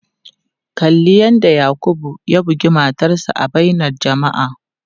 Kalli yadda Yakubu ya bugi matarsa ​​a bainar jama'a.